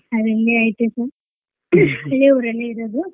ಅದಿಂಗೆ ಐತೆ sir ಇದೆ ಊರಲ್ಲೇ ಇರೋದು.